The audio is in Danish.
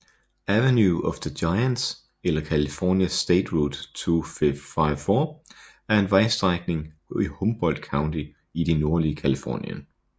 Avenue of the Giants eller California State Route 254 er en vejstrækning i Humboldt County i det nordlige Californien